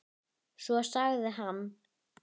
við HÍ.